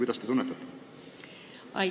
Mida te tunnetate?